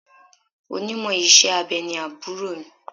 Onímọ̀ iṣẹ́ abẹ ni àbúrò mi.